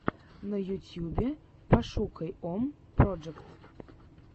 на ютьюбе пошукай ом проджект